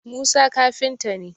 Musa kafinta ne